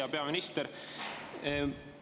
Hea peaminister!